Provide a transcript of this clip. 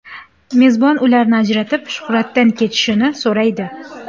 Mezbon ularni ajratib, Shuhratdan ketishini so‘raydi.